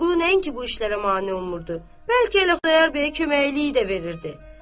Vəliqulu nəinki bu işlərə mane olmurdu, bəlkə Xudayar bəyə köməkliyi də verirdi.